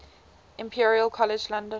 imperial college london